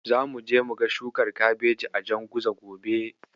Zamuje muga shukar Kabeji a Janguza gobe.